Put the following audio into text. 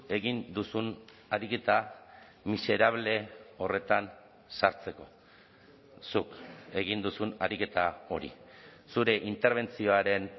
egin duzun ariketa miserable horretan sartzeko zuk egin duzun ariketa hori zure interbentzioaren